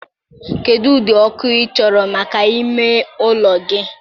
kedụ ụdị ọkụ ị chọrọ maka ime ụlọ gị?